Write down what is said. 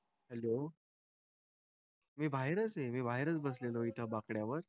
Hello. मी बाहेरच आहे. मी बाहेरच बसलेलो आहे इथं बाकड्यावर.